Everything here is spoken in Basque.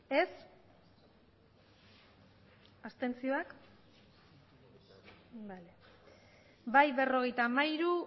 aurkako botoak abstentzioak bai berrogeita hamairu